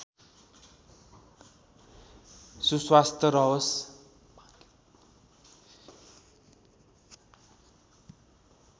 सुस्वास्थ्य रहोस्